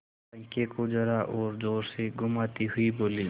पंखे को जरा और जोर से घुमाती हुई बोली